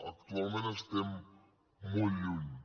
actualment n’estem molt lluny